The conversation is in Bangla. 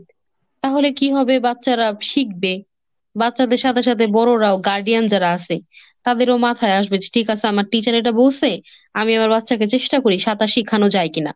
তাহলে কি হবে বাচ্চারা শিখবে। বাচ্চাদের সাথে সাথে বড়রাও guardian যারা আছে তাদেরও মাথায় আসবে যে ঠিক আছে আমার teacher এটা বলছে, আমি আমার বাচ্চাকে চেষ্টা করি সাঁতার শিখানো যায় কিনা।